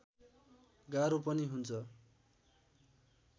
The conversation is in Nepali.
गाह्रो पनि हुन्छ